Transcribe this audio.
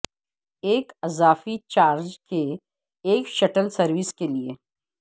ایک اضافی چارج کے ایک شٹل سروس کے لئے